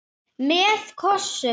Með kossum.